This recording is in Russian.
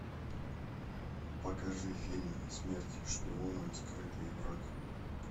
покажи фильм смерть шпионам скрытый враг